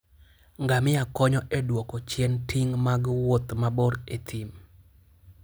Ngamia konyo e duoko chien ting' mag wuoth mabor e thim.